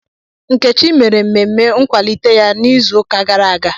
Nkechi mere mmemme nkwalite ya n'izuụka gara aga.